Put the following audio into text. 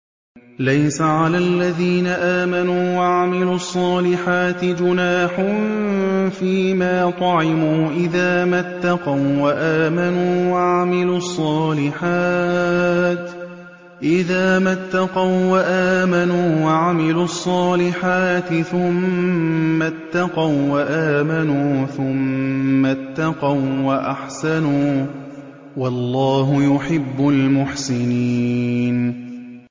لَيْسَ عَلَى الَّذِينَ آمَنُوا وَعَمِلُوا الصَّالِحَاتِ جُنَاحٌ فِيمَا طَعِمُوا إِذَا مَا اتَّقَوا وَّآمَنُوا وَعَمِلُوا الصَّالِحَاتِ ثُمَّ اتَّقَوا وَّآمَنُوا ثُمَّ اتَّقَوا وَّأَحْسَنُوا ۗ وَاللَّهُ يُحِبُّ الْمُحْسِنِينَ